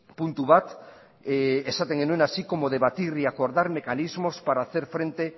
puntu bat esaten genuen así como debatir y acordar mecanismos para hacer frente